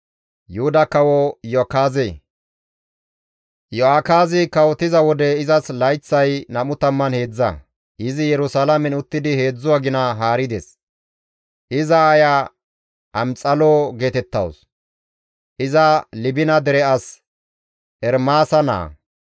Iyo7akaazi kawotiza wode izas layththay 23, izi Yerusalaamen uttidi 3 agina haarides; iza aaya Amxalo geetettawus. Iza Libina dere as Ermaasa naa.